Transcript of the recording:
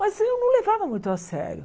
Mas eu não levava muito a sério.